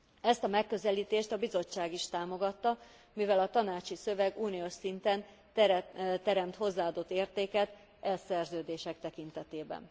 Ezt a megközelítést a Bizottság is támogatta, mivel a tanácsi szöveg uniós szinten teremt hozzáadott értéket e szerződések tekintetében.